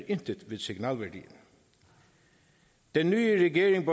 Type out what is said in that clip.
intet ved signalværdien den nye regering